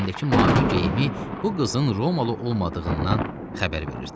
Əynindəki mavi geyimi bu qızın romalı olmadığından xəbər verirdi.